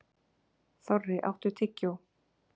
Þorri, áttu tyggjó?